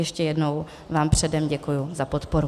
Ještě jednou vám předem děkuji za podporu.